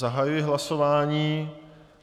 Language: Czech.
Zahajuji hlasování.